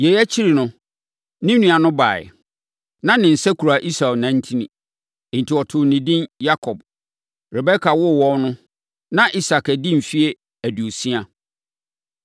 Yei akyiri no, ne nua no baeɛ. Na ne nsa kura Esau nantin; enti wɔtoo ne din Yakob. Rebeka woo wɔn no, na Isak adi mfeɛ aduosia.